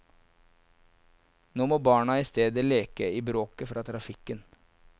Nå må barna i stedet leke i bråket fra trafikken.